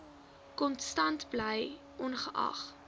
konstant bly ongeag